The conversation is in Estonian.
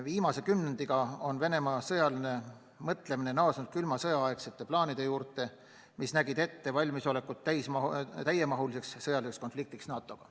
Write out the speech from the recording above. Viimase kümnendiga on Venemaa naasnud külma sõja aegsete plaanide juurde, mis nägid ette valmisolekut täiemahuliseks sõjaliseks konfliktiks NATO-ga.